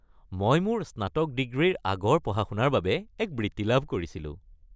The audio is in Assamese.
মই মোৰ স্নাতক ডিগ্ৰীৰ আগৰ পঢ়া-শুনাৰ বাবে এক বৃত্তি লাভ কৰিছিলো।